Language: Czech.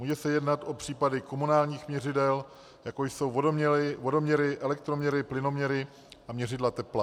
Může se jednat o případy komunálních měřidel, jako jsou vodoměry, elektroměry, plynoměry a měřidla tepla.